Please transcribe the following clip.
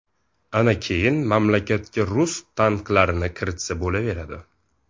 Ana keyin mamlakatga rus tanklarini kiritsa bo‘laveradi.